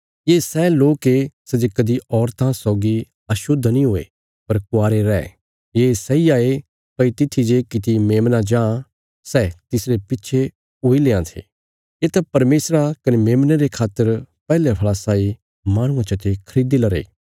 ये सै लोक ये सै जे कदीं औरतां सौगी अशुद्ध नीं हुये पर कुवारे रै ये सैई हाये भई तित्थी जे कित्ती मेमना जां सै तिसरे पिच्छे हुई लेआं ये येत परमेशर कने मेमने रे खातर पैहले फल़ा साई माहणुआं चते खरीदी लरे